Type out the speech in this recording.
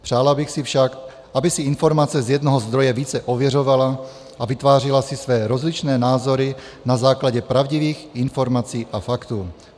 Přála bych si však, aby si informace z jednoho zdroje více ověřovala a vytvářela si své rozličné názory na základě pravdivých informací a faktů.